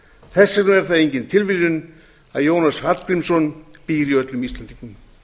er það engin tilviljun að jónas hallgrímsson býr í öllum íslendingum